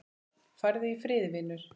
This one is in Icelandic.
Farðu í friði, vinur.